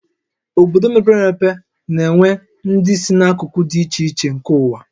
Obodo mepere emepe na-enwe ndị si n'akụkụ dị iche iche nke ụwa